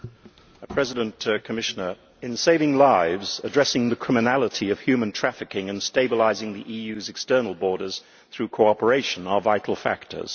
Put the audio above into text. Mr President, in saving lives, addressing the criminality of human trafficking and stabilising the EUʼs external borders through cooperation are vital factors.